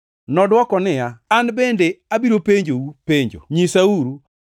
Nodwoko niya, “An bende abiro penjou penjo. Nyisauru: